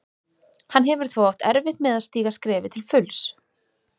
Hann hefur þó átt erfitt með að stíga skrefið til fulls.